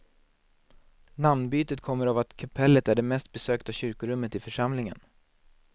Namnbytet kommer av att kapellet är det mest besökta kyrkorummet i församlingen.